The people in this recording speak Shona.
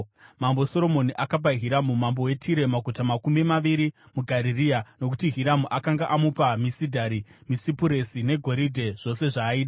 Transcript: Mambo Soromoni akapa Hiramu mambo weTire maguta makumi maviri muGarirea, nokuti Hiramu akanga amupa misidhari, misipuresi negoridhe, zvose zvaaida.